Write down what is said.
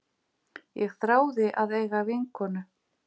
Ég þráði að eiga vinkonu.